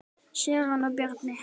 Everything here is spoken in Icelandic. Sigrún og Bjarni.